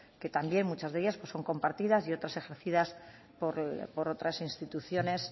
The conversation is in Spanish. que también muchas de ellas son compartidas y otras ejercidas por otras instituciones